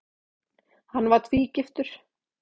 Hann var tvígiftur.